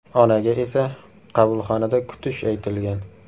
Onaga esa qabulxonada kutish aytilgan.